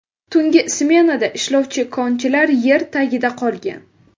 Tungi smenada ishlovchi konchilar yer tagida qolgan.